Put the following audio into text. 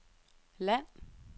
land